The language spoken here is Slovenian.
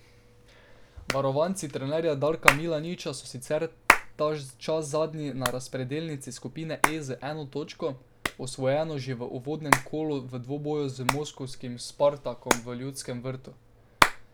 Varovanci trenerja Darka Milaniča so sicer ta čas zadnji na razpredelnici skupine E z eno točko, osvojeno že v uvodnem kolu v dvoboju z moskovskim Spartakom v Ljudskem vrtu.